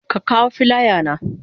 Ka kawo filaya na?